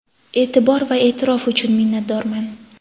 Eʼtibor va eʼtirof uchun minnatdorman!.